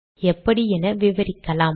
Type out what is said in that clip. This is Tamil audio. எப்படி என விவரிக்கலாம்